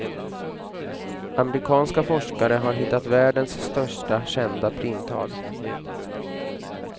Amerikanska forskare har hittat världens största kända primtal.